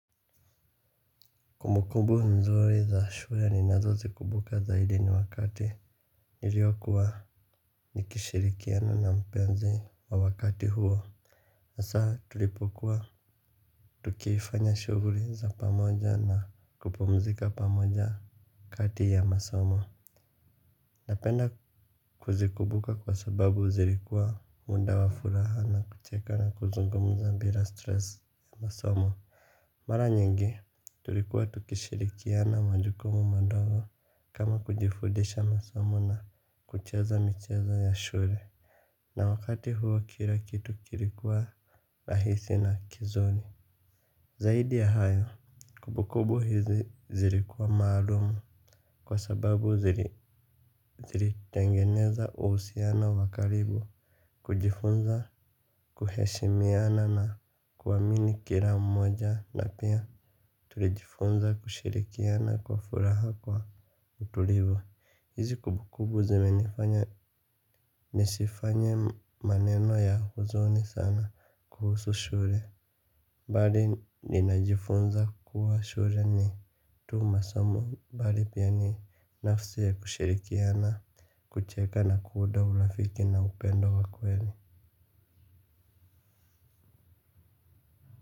Kumbu kumbu nzuri za shule ninazozikumbuka zaidi ni wakati niliokuwa nikishirikiana na mpenzi wa wakati huo. Na saa tulipokuwa tukifanya shughuli za pamoja na kupumzika pamoja kati ya masomo. Napenda kuzikumbuka kwa sababu zilikuwa muda wa furaha na kucheka na kuzungumza bila stress ya masomo. Mara nyingi, tulikuwa tukishirikiana majukumu madogo kama kujifudisha masomo na kucheza mcheza ya shule. Na wakati huwa kila kitu kilikuwa rahisi na kizuri. Zaidi ya hayo, kumbukumbu hizi zilikuwa maalumu kwa sababu zilitengeneza uhusiano wa karibu. Kujifunza kuheshimiana na kuamini kila mmoja na pia tulijifunza kushirikiana kwa furaha kwa utulivu. Hizi kumbukumbu zimenifanya nisifanye maneno ya huzuni sana kuhusu shule. Bali ninajifunza kuwa shule ni tu masomo. Bali pia ni nafsi ya kushirikiana kucheka na kuunda urafiki na upendo wa kweli.